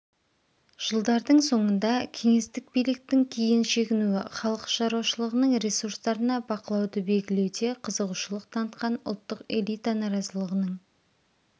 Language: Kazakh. жылдардың соңында кеңестік биліктің кейін шегінуі халық шаруашылығының ресурстарына бақылауды белгілеуде қызығушылық танытқан ұлттық элита наразылығының